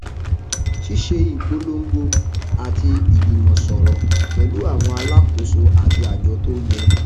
ṣíṣe ìpolongo àti ìjùmọsọrọ pẹlú àwọn alákóso àti àjọ tó yẹ